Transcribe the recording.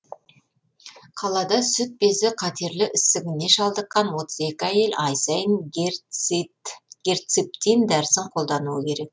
қалада сүт безі қатерлі ісігіне шалдыққан отыз екі әйел ай сайын герциптин дәрісін қолдануы керек